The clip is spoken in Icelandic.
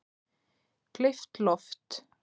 Gleypt loft